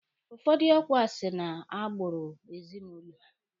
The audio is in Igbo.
Ụfọdụ ọkwa si na agbụrụ ezinụlọ.